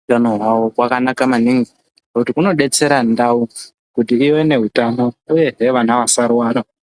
utano hwavo kwanakana maningi nekuti kunodetsera utano hwavo uyezve vana vasarwara.